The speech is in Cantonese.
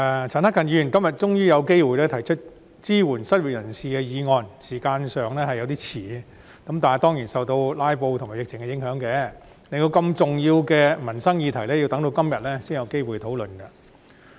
陳克勤議員今天終於有機會提出支援失業人士的議案，時間上已經有點遲，但這當然是受到"拉布"和疫情的影響，令我們要到今天才有機會討論如此重要的民生議題。